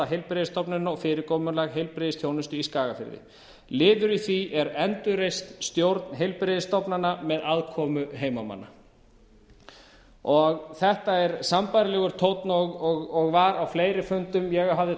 heilbrigðisstofnunina og fyrirkomulag heilbrigðisþjónustu í skagafirði liður í því er endurreist stjórn heilbrigðisstofnana með aðkomu heimamanna þetta er sambærilegur tónn og var á fleiri fundum ég hafði